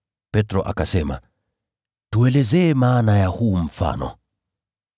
Petro akasema, “Tueleze maana ya huu mfano.”